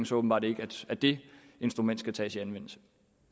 så åbenbart ikke at det instrument skal tages i anvendelse